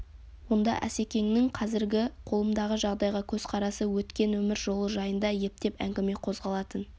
онда асекеңнің қазіргі қолымдағы жағдайға көзқарасы өткен өмір жолы жайында ептеп әңгіме қозғалатын